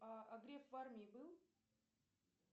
а греф в армии был